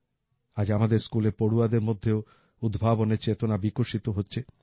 আজ আমাদের স্কুলের পড়ুয়াদের মধ্যেও উদ্ভাবনের চেতনা বিকশিত হচ্ছে